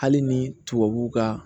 Hali ni tubabuw ka